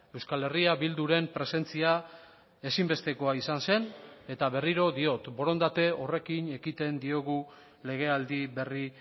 euskal herria bilduren presentzia ezinbestekoa izan zen eta berriro diot borondate horrekin ekiten diogu legealdi berri